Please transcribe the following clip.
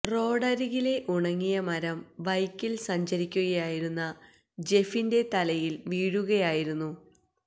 റോഡരികിലെ ഉണങ്ങിയ മരം ബൈക്കില് സഞ്ചരിക്കുകയായിരുന്ന ജെഫിന്റെ തലയില് വീഴുകയായിരുന്നു